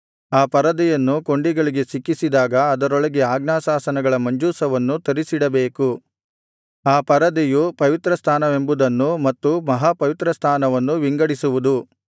ಆ ಪರದೆಯನ್ನು ಕೊಂಡಿಗಳಿಗೆ ಸಿಕ್ಕಿಸಿದಾಗ ಅದರೊಳಗೆ ಆಜ್ಞಾಶಾಸನಗಳ ಮಂಜೂಷವನ್ನು ತರಿಸಿಡಬೇಕು ಆ ಪರದೆಯು ಪವಿತ್ರಸ್ಥಾನವೆಂಬುದನ್ನೂ ಮತ್ತು ಮಹಾಪವಿತ್ರಸ್ಥಾನವನ್ನೂ ವಿಂಗಡಿಸುವುದು